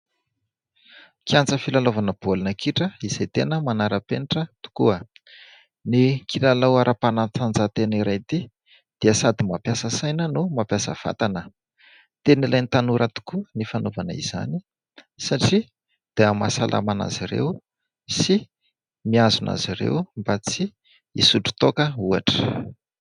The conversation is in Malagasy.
Kianja filalaovana baolina kitra izay tena manaram-penitra tokoa. Ny kilalao ara-panatanjahan-tena iray ity dia sady mampiasa saina no mampiasa vatana. Tena ilain'ny tanora tokoa ny fanaovana izany satria dia mahasalama azy ireo sy mihazona azy ireo mba tsy hisotro toaka ohatra.